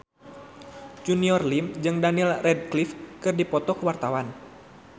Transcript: Junior Liem jeung Daniel Radcliffe keur dipoto ku wartawan